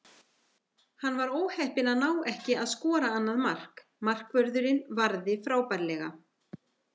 Hann var óheppinn að ná ekki að skora annað mark, markvörðurinn varði frábærlega.